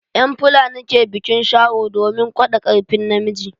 En fulani ke biƙin sharo domin gwaɗa karfin na miji.